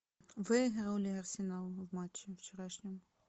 выиграл ли арсенал в матче вчерашнем